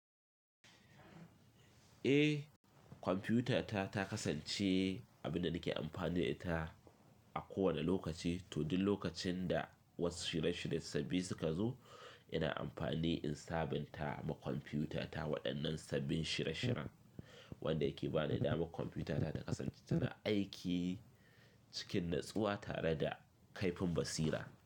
Eh kwamfutata ta kasance abin da nake amfani da ita a kowane lokaci, to din lokacin da wasu shirye shirye sabbi suka zo ina amfani insabinta ma kwamfutata waɗannan sabbin shirya shiryan wanda yake ba ni dama kwamfutata ta kasance tana aiki cikin natsuwa tare da kaifin basira.